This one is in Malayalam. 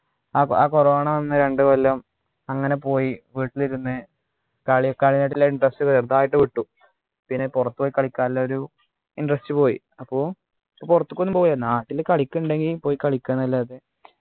അപ് ആഹ് corona വന്ന രണ്ടു കൊല്ലം അങ്ങനെ പോയി വീട്ടിലിരുന്ന് കളി കളിനോടുള്ള interest ചെറുതായിട്ട് വിട്ടു പിന്നെ പുറത്തുപോയി കളിക്കാനുള്ള ഒരു interest പോയി അപ്പൊ പുറത്തേക്കൊന്നും പോവില്ല പ്പോ നാട്ടില് കളിക്കുന്നുണ്ടെങ്കിൽ പോയി കളിക്ക ന്നല്ലാത